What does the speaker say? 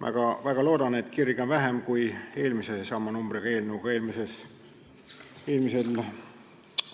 Ma väga loodan, et kirge on seekord vähem kui sama numbriga eelnõu arutelul eelmisel